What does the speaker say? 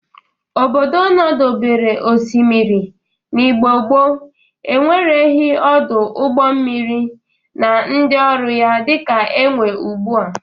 Obodo nọdebere osimiri n'Igbo gboo enwereghi ọdụ ụgbọ mmiri na ndị ọrụ ya dịka enwe ugbu a.